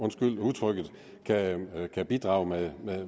undskyld udtrykket kan bidrage med